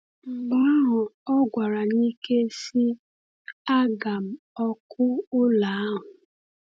Mgbe ahụ ọ gwara n’ike, sị: “Aga m ọkụ ụlọ ahụ!”